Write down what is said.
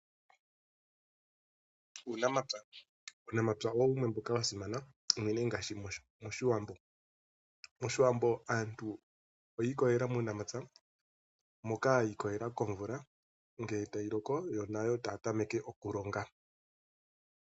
Uunamapya, uunampya owo wumwe wa simana uunene ngashi moshiwambo. Moshiwambo aantu oyiikololela momapya moka yikololela komvula nge tayi loko nayo taya tameke okulonga.